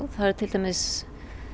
það er til dæmis